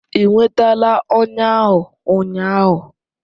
Ị nwetara ọnya ahụ ụnyaahụ?